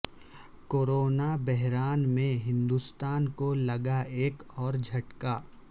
corona بحران میں ہندوستان کو لگا ایک اور جھٹکا